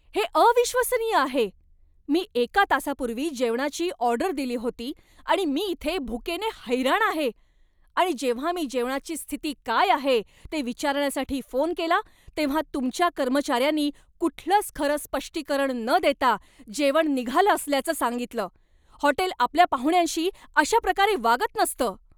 हे अविश्वसनीय आहे. मी एका तासापूर्वी जेवणाची ऑर्डर दिली होती आणि मी इथे भुकेने हैराण आहे. आणि जेव्हा मी जेवणाची स्थिती काय आहे ते विचारण्यासाठी फोन केला, तेव्हा तुमच्या कर्मचाऱ्यांनी कुठलंच खरं स्पष्टीकरण न देता जेवण निघालं असल्याचं सांगितलं. हॉटेल आपल्या पाहुण्यांशी अशा प्रकारे वागत नसतं.